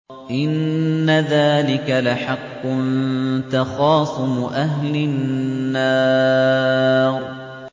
إِنَّ ذَٰلِكَ لَحَقٌّ تَخَاصُمُ أَهْلِ النَّارِ